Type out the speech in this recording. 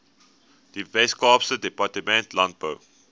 weskaapse departement landbou